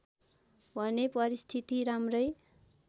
भने परिस्थिति राम्रै